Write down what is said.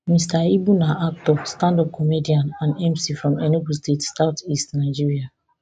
mr ibu na actor standup comedian and mc from enugu state southeast nigeria